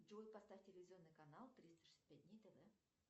джой поставь телевизионный канал триста шестьдесят пять дней тв